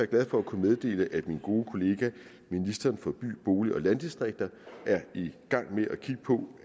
glad for at kunne meddele at min gode kollega ministeren for by bolig og landdistrikter er i gang med